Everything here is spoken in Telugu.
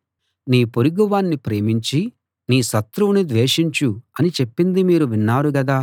నీ పొరుగువాణ్ణి ప్రేమించి నీ శత్రువును ద్వేషించు అని చెప్పింది మీరు విన్నారు గదా